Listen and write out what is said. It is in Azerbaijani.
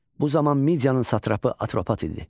Bu zaman Midiyanın satrapı Atropat idi.